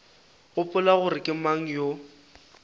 gopola gore ke mang yo